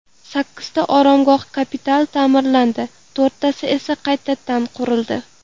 Sakkizta oromgoh kapital ta’mirlandi, to‘rttasi esa qaytadan qurildi.